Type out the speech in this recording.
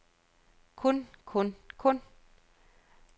kun kun kun